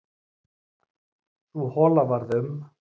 Sú hola varð um